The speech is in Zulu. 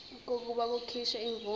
kokuba kukhishwe imvume